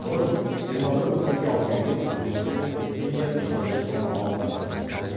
бұрын жиырма бір мың теңге алып келген студенттердің стипендиясы енді жиырма алты мыңға өсті